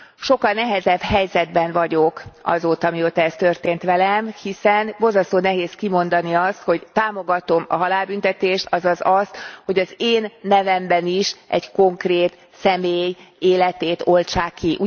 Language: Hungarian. Sokkal nehezebb helyzetben vagyok azóta, mióta ez történt velem. Hiszen borzasztó nehéz kimondani azt, hogy támogatom a halálbüntetést, azaz azt, hogy az én nevemben is egy konkrét személy életét oltsák ki.